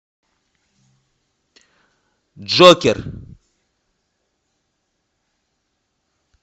джокер